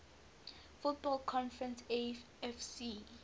football conference afc